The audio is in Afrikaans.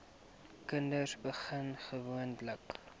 kinders begin gewoonlik